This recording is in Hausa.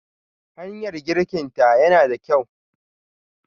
Hanyar girkinta yana da kyau.